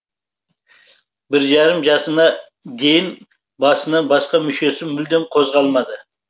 бір жарым жасына дейін басынан басқа мүшесі мүлдем қозғалмады